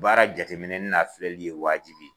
Baara jate minɛni n'a filɛli ye waajibi